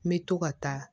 N bɛ to ka taa